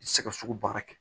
Sɛgɛsɛgɛ baara kɛ